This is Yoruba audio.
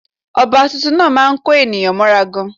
Ọba tuntun náà má a ń kó ènìyàn mọ́ra gan